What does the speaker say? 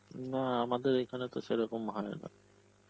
না আমাদের এখানে তো সেরকম হয়না.